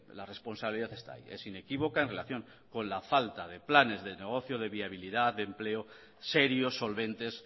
la responsabilidad está ahí es inequívoca en relación con la falta de planes de negocio de viabilidad de empleos serios solventes